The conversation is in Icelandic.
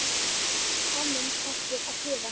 Penninn hættir að tifa.